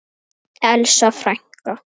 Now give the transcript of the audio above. Elsa frænka.